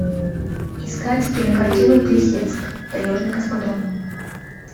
искать кинокартину плесецк таежный космодром